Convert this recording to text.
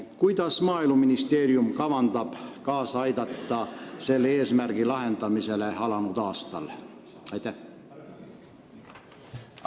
Kuidas kavandab Maaeluministeerium selle eesmärgi täitmisele alanud aastal kaasa aidata?